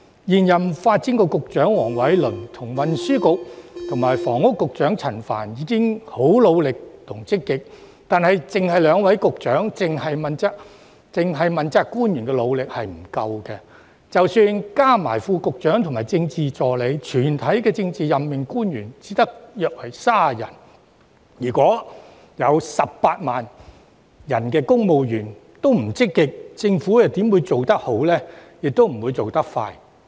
現任發展局局長黃偉綸和運輸及房屋局局長陳帆已經十分努力及積極，但單靠兩位局長和問責官員努力是不足夠的；即使加上副局長及政治助理，全體政治任命官員亦只有約30人；如果18萬名公務員欠積極，政府又如何能做得好呢，也不會做得快。